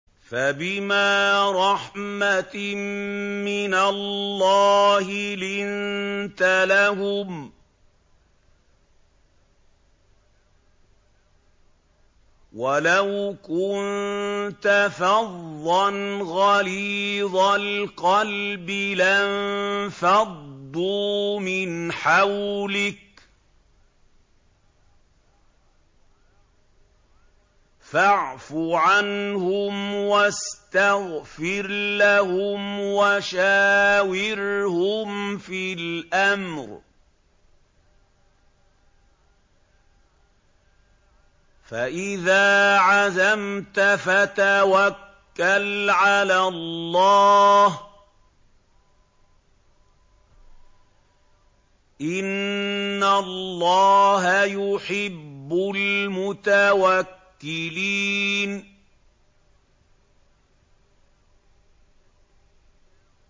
فَبِمَا رَحْمَةٍ مِّنَ اللَّهِ لِنتَ لَهُمْ ۖ وَلَوْ كُنتَ فَظًّا غَلِيظَ الْقَلْبِ لَانفَضُّوا مِنْ حَوْلِكَ ۖ فَاعْفُ عَنْهُمْ وَاسْتَغْفِرْ لَهُمْ وَشَاوِرْهُمْ فِي الْأَمْرِ ۖ فَإِذَا عَزَمْتَ فَتَوَكَّلْ عَلَى اللَّهِ ۚ إِنَّ اللَّهَ يُحِبُّ الْمُتَوَكِّلِينَ